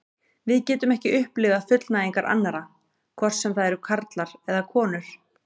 Við getum ekki upplifað fullnægingar annarra, hvort sem það eru karlar eða konur.